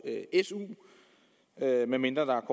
su medmindre der er